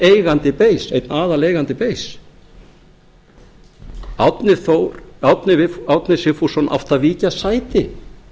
eigandi bein einn aðaleigandi bein árni sigfússon átti að víkja sæti